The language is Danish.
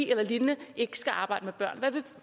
eller lignende ikke skal arbejde med børn